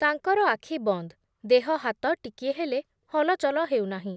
ତାଙ୍କର ଆଖି ବନ୍ଦ୍, ଦେହ ହାତ ଟିକିଏ ହେଲେ ହଲଚଲ ହେଉନାହିଁ ।